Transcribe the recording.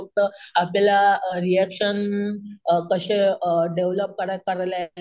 फक्त आपल्याला reaction um कशे अम डेव्हलप